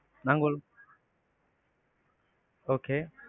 நாங்க ஒரு okay.